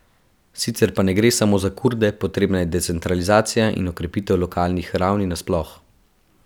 Sicer pa ne gre samo za Kurde, potrebna je decentralizacija in okrepitev lokalnih ravni nasploh.